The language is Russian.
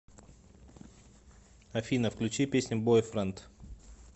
афина включи песню бойфренд